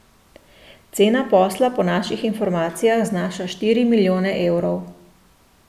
Cena posla po naših informacijah znaša štiri milijone evrov.